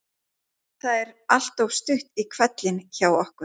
Það er alltaf stutt í hvellinn hjá okkur.